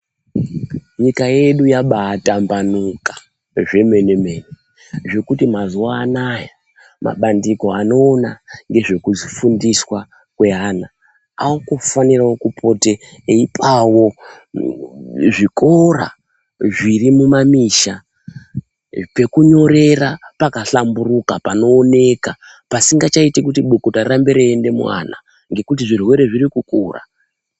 Nyika yedu yaba atambanuka zvemenemen zvekuti mazuwa anaya mabandiko ano ngezvekufundiswa kweana akufanirewo kupota eipawo zvikora zviri mumamisha pekunyorera pakahlamburuka panooneka pasichaiti kuti bukuta rirambe reienda muvana nekuti zvirwere zviri kukura.